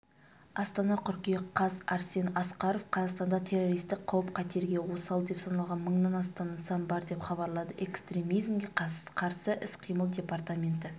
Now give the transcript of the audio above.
астана қыркүйек қаз арсен асқаров қазақстанда террористік қауіп-қатерге осал деп саналған мыңнан астам нысан бар деп хабарлады экстремизмге қарсы іс-қимыл департаменті